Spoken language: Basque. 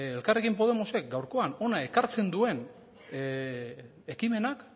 elkarrekin podemosek gaurkoan hona ekartzen duen ekimenak